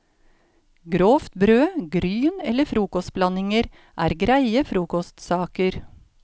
Grovt brød, gryn eller frokostblandinger er greie frokostsaker.